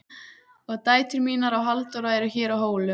Og dætur mínar og Halldóra eru hér á Hólum.